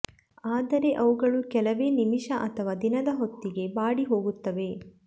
ಆದರೆ ಅವುಗಳು ಕೆಲವೇ ನಿಮಿಷ ಅಥವಾ ದಿನದ ಹೊತ್ತಿಗೆ ಬಾಡಿ ಹೋಗುತ್ತವೆ